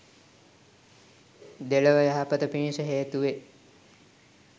දෙලොව යහපත පිණිස හේතු වේ